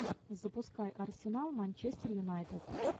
запускай арсенал манчестер юнайтед